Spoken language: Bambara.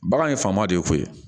Bagan ye faama de ye koyi